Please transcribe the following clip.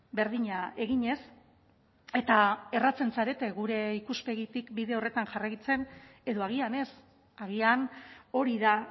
berdina eginez eta erratzen zarete gure ikuspegitik bide horretan jarraitzen edo agian ez agian hori da